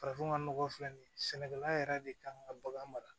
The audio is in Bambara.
Farafinna nɔgɔ filɛ nin ye sɛnɛkɛla yɛrɛ de kan ka bagan mara